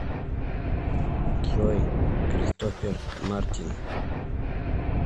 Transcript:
джой кристофер мартин